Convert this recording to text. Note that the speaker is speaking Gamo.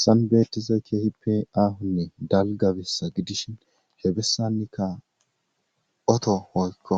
Sanbeetiza keehi pe aahunne dalgabissa gidishi heebessannikka oto hoykko